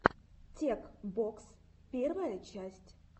тек бокс первая часть